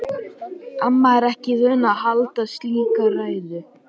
Amma er ekki vön að halda slíka ræðu.